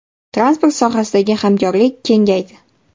Transport sohasidagi hamkorlik kengaydi.